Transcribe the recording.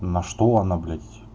на что она блять